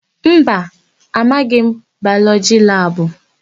Mba, amaghị m Bayọlọgị labụ.